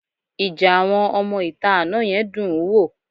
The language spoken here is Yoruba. Ìjà àwọn ọmọ-ìta àná yẹn dún-ùn-ún wò